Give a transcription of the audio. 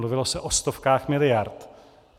Mluvilo se o stovkách miliard.